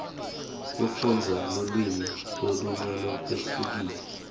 kufundza lulwimi lolunye lolwehlukile